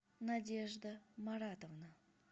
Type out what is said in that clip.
надежда маратовна